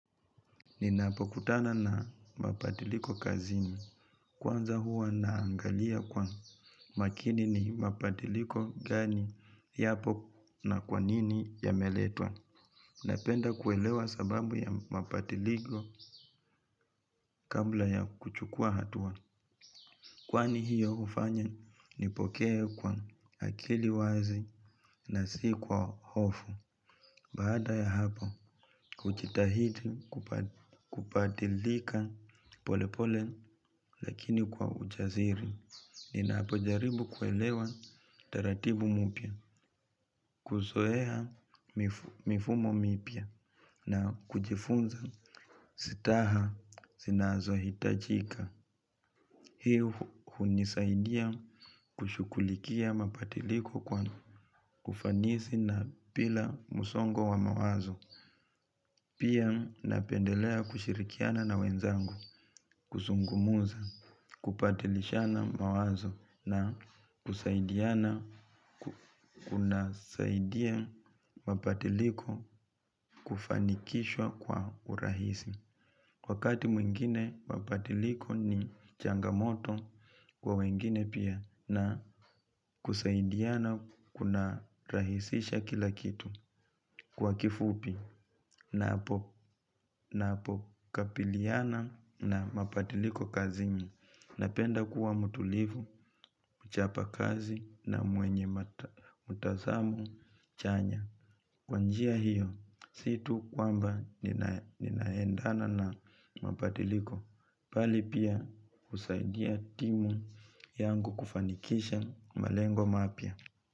Ninapokutana na mabadiliko kazini. Kwanza huwa naangalia kwa makini ni mapadiliko gani yapo na kwanini ya meletwa. Napenda kuelewa sababu ya mapadiliko kabla ya kuchukua hatua. Kwani hiyo hufanya nipokee kwa akili wazi na si kwa hofu. Baada ya hapo, hujitahidi kupadilika polepole lakini kwa ujaziri. Nina pojaribu kuelewa taratibu mupya, kuzoea mifumo mipya na kujifunza sitaha zinazohitajika. Hii hunisaidia kushughulikia mapadiliko kwa kufanisi na pila musongo wa mawazo. Pia napendelea kushirikiana na wenzangu, kusungumuza, kupadilishana mawazo na kusaidiana kuna saidia mapadiliko kufanikishwa kwa urahisi. Wakati mwingine mapadiliko ni changamoto kwa wengine pia na kusaidiana kuna rahisisha kila kitu kwa kifupi na hapo kapiliana na mapadiliko kazini. Napenda kuwa mutulivu, kuchapa kazi na mwenye mutazamu chanya. Kwa njia hiyo situ kwamba ninaendana na mapatiliko. Pali pia kusaidia timu yangu kufanikisha malengo mapya.